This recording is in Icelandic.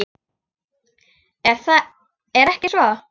Er ekki svo?